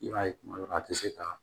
I b'a ye kuma dɔ la a tɛ se ka